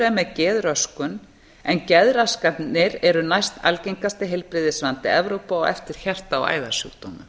er með geðröskun en geðraskanir eru næst algengasti heilbrigðisvandi evrópu á eftir hjarta og æðasjúkdómum